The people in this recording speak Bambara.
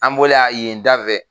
An bɔlen a yen da fɛ